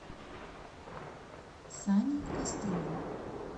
сани кострова